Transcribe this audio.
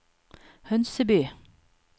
Hønseby